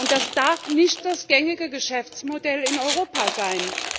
Das darf nicht das gängige Geschäftsmodell in Europa sein.